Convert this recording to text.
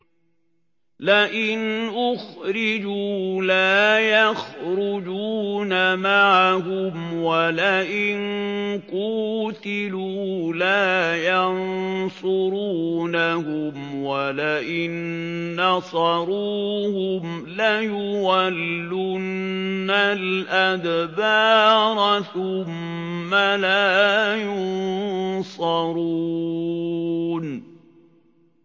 لَئِنْ أُخْرِجُوا لَا يَخْرُجُونَ مَعَهُمْ وَلَئِن قُوتِلُوا لَا يَنصُرُونَهُمْ وَلَئِن نَّصَرُوهُمْ لَيُوَلُّنَّ الْأَدْبَارَ ثُمَّ لَا يُنصَرُونَ